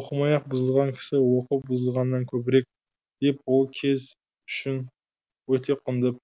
оқымай ақ бұзылған кісі оқып бұзылғаннан көбірек деп ол кез үшін өте құнды